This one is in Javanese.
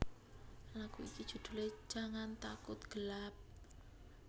Lagu iki judhule Jangan Takut Gelap